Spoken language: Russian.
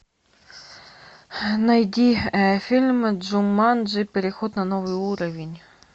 найди фильм джуманджи переход на новый уровень